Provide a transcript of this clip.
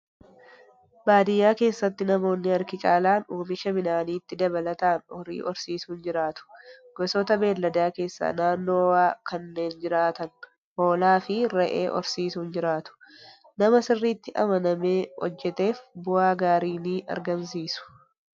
Baadiyyaa keessatti namoonni harki caalaan oomisha midhaaniitti dabalataan horii horsiisuun jiraatu. Gosoota beeyladaa keessaa naannoo ho'aa kanneen jiraatan hoolaa fi re'ee horsiisuun jiraatu. Nama sirriitti amanamee hojjateef bu'aa gaarii ni argamsiisu.